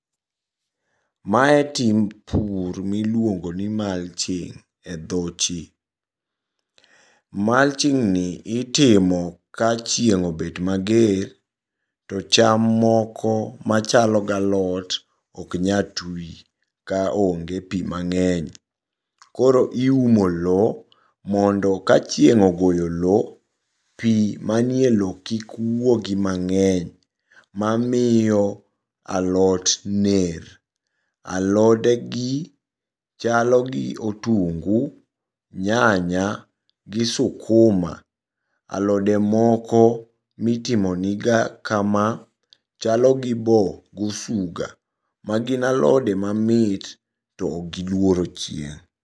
Mae timb pur miluongoni mulching e dho chi. Mulching ni itimo ka chieng' obet mager to cham moko machalo galot oknyal twi kaonge pii mang'eny, koro iumo loo mondo ka chieng' ogoyo loo pii manie loo no kik wuogi mang'eny mamiyo alot ner. Alodegi chalo gi otungu, nyanya, gi sukuma. Alode moko mitimo niga kama chalo gi boo, gosuga. Magin alode mamit to giluoro chieng'.